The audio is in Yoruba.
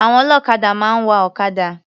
Àwọn ọlọ́kadà máa ń wa ọ̀kadà.